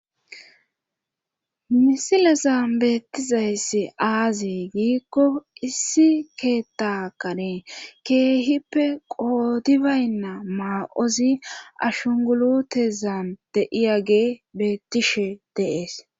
misilezan beettizayssi aazi giikko issi keettakanee keehippe qootibaynna maa7ozi ashungulutezan deiya gee beettishe deees